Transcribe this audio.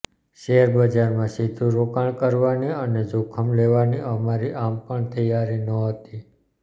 શૅરબજારમાં સીધું રોકાણ કરવાની અને જોખમ લેવાની અમારી આમ પણ તૈયારી નહોતી